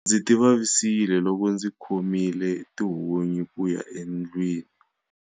Ndzi tivavisile loko ndzi khomile tihunyi ku ya endlwini.